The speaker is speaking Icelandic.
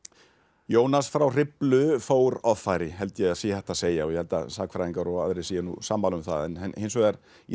Jónas frá Hriflu fór offari held ég að sé hægt að segja ég held að sagnfræðingar og aðrir séu sammála um það en hins vegar